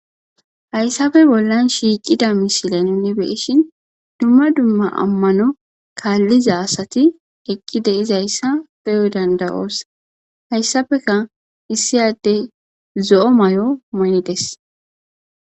Haysaphe Bolan Shiqida Misile Nuni Be'ishin Duma Duma Amano Kaliza Asati Eqi De'zaysa Be'o Danda'os Haysapeka Esi Adey Zo'o Mayo Mayides